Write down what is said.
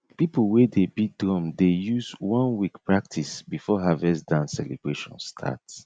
people wey dey beat drum dey use one week practice before harvest dance celebration start